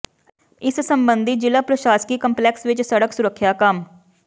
ਇਸ ਸਬੰਧੀ ਜ਼ਿਲ੍ਹਾ ਪ੍ਰਸ਼ਾਸਕੀ ਕੰਪਲੈਕਸ ਵਿਚ ਸੜਕ ਸੁਰੱਖਿਆ ਕਮ